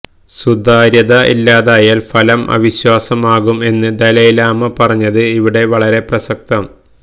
സുതാര്യത ഇല്ലാതായാൽ ഫലം അവിശ്വാസം ആകും എന്ന് ദലൈലാമ പറഞ്ഞത് ഇവിടെ വളരെ പ്രസക്തം